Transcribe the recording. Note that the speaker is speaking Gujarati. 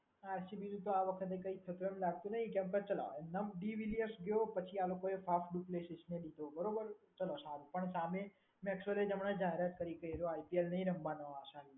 આરસીબી આ વખતે કઈ પ્રોબ્લેમ લાગતો નહીં કેમ કે ચલાવો અને ડી વિલિયમ્સ ગયો પછી આ લોકોએ ને લીધો. બરોબર? ચલો પણ સામે મેક્સવેલ હોય હમણાં જો આઈપીએલ નહીં રમવાનો આ સાલ.